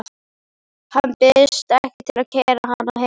Hann býðst ekki til að keyra hana heim.